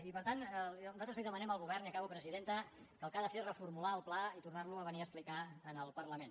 i per tant nosaltres demanem al govern i acabo presidenta que el que ha de fer és reformular el pla i tornar lo a venir a explicar en el parlament